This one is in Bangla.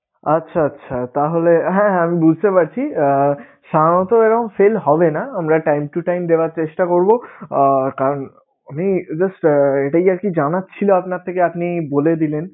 আচ্ছা আচ্ছা তাহলে হ্যা আমি বুঝতে পারছি সাধারণত এরকম হবে না আমরা চেষ্টা করবো কারন উনি এটাই আরকি জানার ছিলো আপনার থেকে আপনি বলে দিলেন.